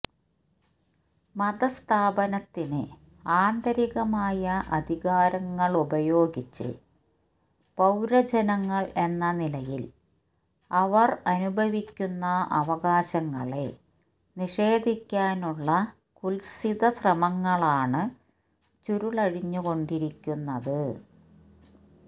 മതസ്ഥാപനത്തിന് ആന്തരികമായ അധികാരങ്ങളുപയോഗിച്ച് പൌരജനങ്ങൾ എന്ന നിലയിൽ അവർ അനുഭവിക്കുന്ന അവകാശങ്ങളെ നിഷേധിക്കാനുള്ള കുത്സിതശ്രമങ്ങളാണ് ചുരുളഴിഞ്ഞുകൊണ്ടിരിക്കുന്നത്